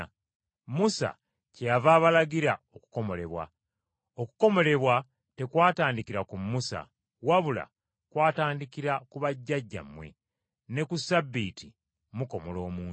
Musa kyeyava abalagira okukomolebwa, okukomolebwa tekwatandikira ku Musa wabula kwatandikira ku bajjajjammwe; ne ku Ssabbiiti mukomola omuntu.